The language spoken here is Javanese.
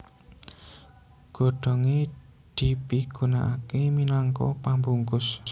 Godhongé dipigunakaké minangka pambungkus